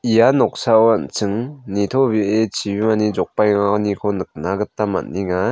ia noksao an·ching nitobee chibimani jokbaenganiko nikna gita man·enga.